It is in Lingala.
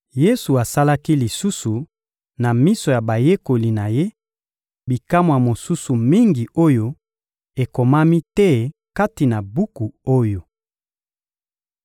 Yesu asalaki lisusu, na miso ya bayekoli na Ye, bikamwa mosusu mingi oyo ekomami te kati na buku oyo.